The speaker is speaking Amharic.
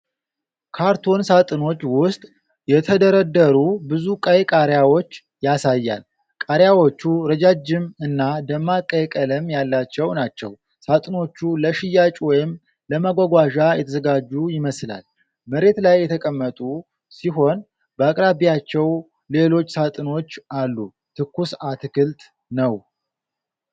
ካርቶን ሣጥኖች ውስጥ የተደረደሩ ብዙ ቀይ ቃሪያዎች ያሳያል። ቃሪያዎቹ ረጃጅም እና ደማቅ ቀይ ቀለም ያላቸው ናቸው። ሣጥኖቹ ለሽያጭ ወይም ለማጓጓዣ የተዘጋጁ ይመስላል። መሬት ላይ የተቀመጡ ሲሆን በአቅራቢያቸው ሌሎች ሣጥኖች አሉ። ትኩስ አትክልት ነው።